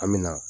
An mi na